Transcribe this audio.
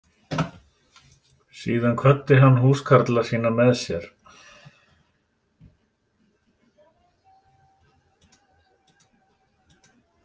Síðan kvaddi hann húskarla sína með sér.